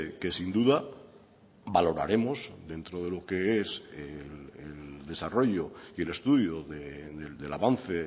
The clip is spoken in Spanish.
que sin duda valoraremos dentro de lo que es el desarrollo y el estudio del avance